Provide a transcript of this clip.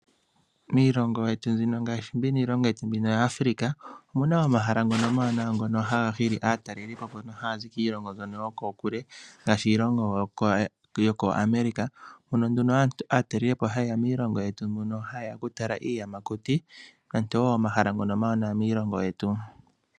Miilongo yetu mbino ngaashi miilongo yetu yaAfrica omuna omahala ngono omawanawa ngono haga hili aatalelipo mbono haazi kiilongo mbyono yokokule ngaashi iilongo yo kooAmerica, mono nduno aatalelipo hayeya miilongo yetu hayeya oku tala iiyamakuti momahala ngono omawanwa miilongo yetu.